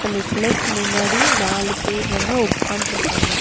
இந்த சிலைக்கு முன்னாடி நாலு பேர் வந்து உக்கான்ட்ருக்காங்க.